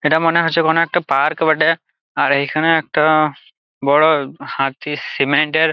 এটা মনে হচ্ছে কোনো একটা পার্ক বটে। আর এইখানে একটা বড় হাতি সিমেন্ট -এর।